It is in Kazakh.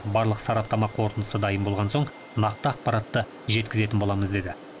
барлық сараптама қортындысы дайын болған соң нақты ақпаратты жеткізетін боламыз деді